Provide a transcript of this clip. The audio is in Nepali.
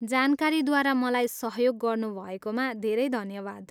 जानकारीद्वारा मलाई सहयोग गर्नुभएकोमा धेरै धन्यवाद।